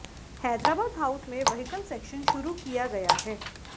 Hyderabad house में vehicle section शुरू किया गया है